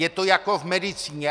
Je to jako v medicíně.